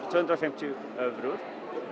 tvö hundruð og fimmtíu evrur